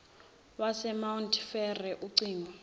wasemount frere ucingo